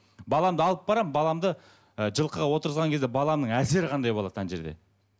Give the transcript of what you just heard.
баламды алып барамын баламды ы жылқыға отырғызған кезде баланың әсері қандай болады ана жерде